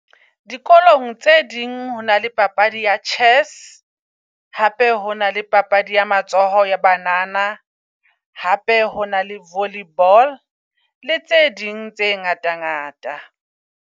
Dikolong tse ding ho na le papadi ya chess, hape ho na le papadi ya matsoho ea banana. Hape ho na le volley ball le tse ding tse ngata ngata.